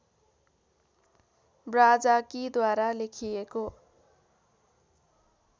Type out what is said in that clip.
ब्राजाकीद्वारा लेखिएको